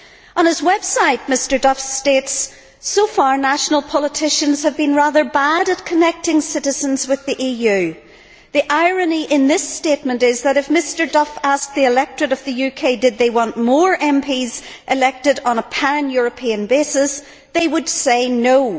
On his website, Mr Duff states that, so far, national politicians have been rather bad at connecting citizens with the EU. The irony in this statement is that, if Mr Duff asked the electorate of the UK whether they wanted more MPs elected on a pan European basis, they would say no'.